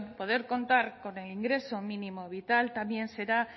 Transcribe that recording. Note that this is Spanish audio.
poder contar con el ingreso mínimo vital también será